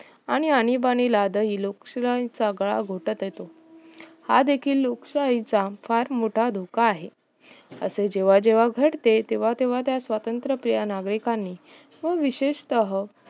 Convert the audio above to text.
आणि आणिबाणिला दाही लोकशिव्यांचा गळा घोटत असे आज देखील लोकशाहीचा फार मोठा धोका आहे असे जेव्हा जेव्हा घडते तेव्हा तेव्हा त्या स्वत्रंत प्रिय नागरीकांनी ते विशेतः